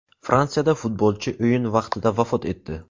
Fransiyada futbolchi o‘yin vaqtida vafot etdi.